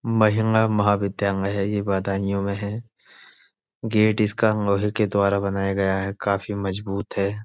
महिला महाविद्यालय है ये बदायूँ में है। गेट इसका लोहे के द्वारा बनाया गया है। काफी मजबूत है।